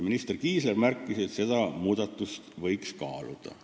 Minister Kiisler märkis, et seda muudatust võiks kaaluda.